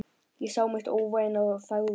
Ég sá mitt óvænna og þagði.